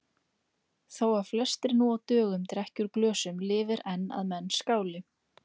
Þó að flestir nú á dögum drekki úr glösum lifir enn að menn skáli.